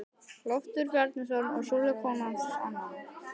Loftur Bjarnason og Sólveig kona hans annan.